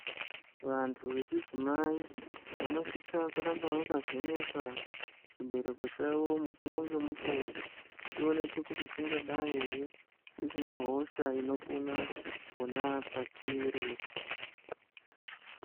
Vantu vechidzimai vanosisa kuramba vakavhenekwa chibereko chavo mukuvo ngemukuvo. Chionekwe kuti chingadai ere chisina hosha inopona pona pachiri.